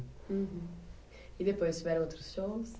E depois, tiveram outros shows?